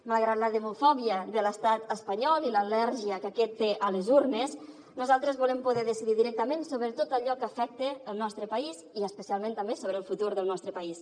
malgrat la demofòbia de l’estat espanyol i l’al·lèrgia que aquest té a les urnes nosaltres volem poder decidir directament sobre tot allò que afecta el nostre país i especialment també sobre el futur del nostre país